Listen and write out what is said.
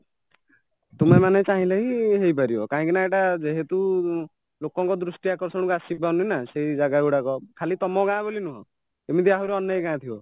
ତୁମେମାନେ ଚାହିଁଲେହିଁ ହେଇପାରିବ କାହିଁକିନା ଏଇଟା ଯେହେତୁ ଲୋକଙ୍କ ଦୃଷ୍ଟିଆକର୍ଷଣକୁ ଆସିପାରୁନିନା ସେଇଜାଗା ଗୁଡାକ ଖାଲି ତାମଗାଁ ବୋଲିନୁହଁ ଏମିତି ଆହୁରି ଅନେକ ଗାଁ ଥିବା